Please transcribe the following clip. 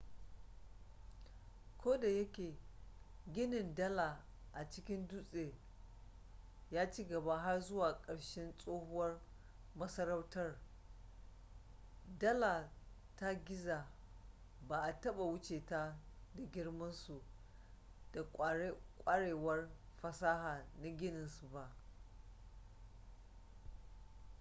ko da yake ginin dala a cikin dutse ya ci gaba har zuwa ƙarshen tsohuwar masarautar dala ta giza ba a taɓa wuce ta da girmansu da ƙwarewar fasaha na ginin su ba